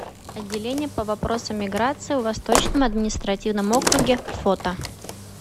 отделение по вопросам миграции в восточном административном округе фото